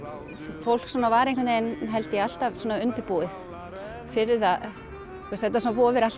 fólk svona var einhvern veginn held ég alltaf undirbúið fyrir það þetta vofir alltaf